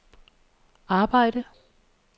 arbejdede